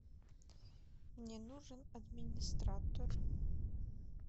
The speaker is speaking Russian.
мне нужен администратор